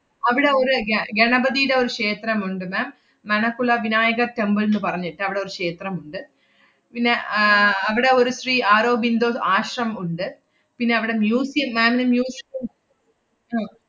അവിടെ ഒരു ഗ~ ഗണപതിടെ ഒരു ക്ഷേത്രമുണ്ട് ma'am, മണകുള വിനായക temple ന്ന് പറഞ്ഞിട്ട് അവടെ ഒരു ക്ഷേത്രമുണ്ട്. പിന്നെ ആഹ് അവടെ ഒരു ശ്രീ ആറോബിന്ദോ ആശ്രമം ഉണ്ട്. പിന്നവടെ museum ma'am ന് muse~